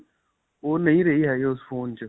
ਓਹ ਨਹੀ ਰਹੀ ਹੈਗੀ ਉਸ ਫੋਨ 'ਚ.